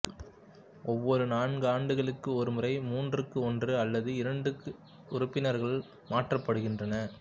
ஒவ்வொரு நான்காண்டுகளுக்கு ஒருமுறை மூன்றுக்கு ஒன்று அல்லது இரண்டு உறுப்பினர்கள் மாற்றப்படுகின்றனர்